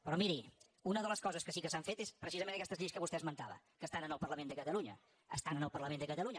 però miri una de les coses que sí que s’han fet és precisament aquestes lleis que vostè esmentava que estan en el parlament de catalunya estan en el parlament de catalunya